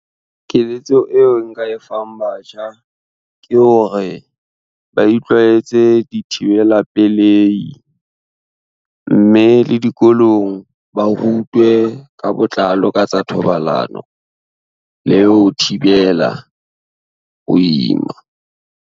Keletso eo nka e fang batjha ke hore ba itlwaetse dithibela pelehi, mme le dikolong ba rutwe ka botlalo ka tsa thobalano le ho thibela ho ima.